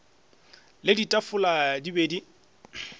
le ditafola di be di